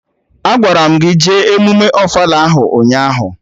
Agwara m gị jee emụme ofala ahụ ụnyaahụ!